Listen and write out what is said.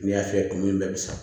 N'i y'a fiyɛ kuma min bɛ sa